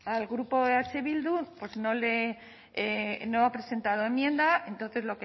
al grupo eh bildu pues no ha presentado enmienda entonces